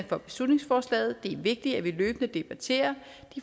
for beslutningsforslaget det er vigtigt at vi løbende debatterer